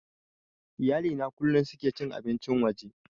Iyali na kullum suke cin abincin waje